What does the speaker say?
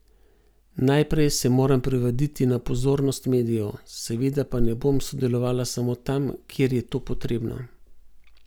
Najprej se moram privaditi na pozornost medijev, seveda pa ne bom sodelovala samo tam, kjer je to potrebno.